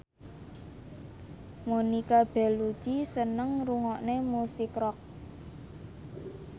Monica Belluci seneng ngrungokne musik rock